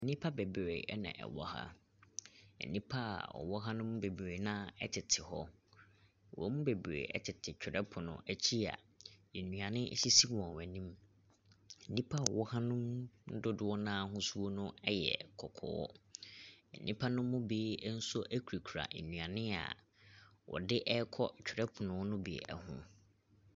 Nnipa bebree na wɔwɔ ha. Nnipa a wɔwɔ ha no mu bebree no ara tete hɔ. Wɔn mu bebree tete twerɛpono akyi a nnuane sisi wɔn anim. Nnipa a wɔwɔ ha no mu dodoɔ no ara ahosuo no yɛ kɔkɔɔ. Nnipa no mu bi nso kurakura nnuane a wɔde rekɔ twerɛpono no bi ho.